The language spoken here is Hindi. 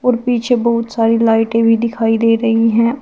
और पीछे बहुत सारी लाइटे भी दिखाई दे रही हैं और--